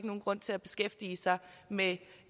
nogen grund til at beskæftige sig med